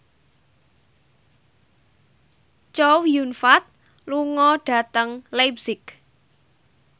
Chow Yun Fat lunga dhateng leipzig